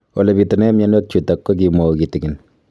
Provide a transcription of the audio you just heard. Ole pitune mionwek chutok ko kimwau kitig'�n